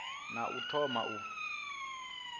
ne a ḓo thoma u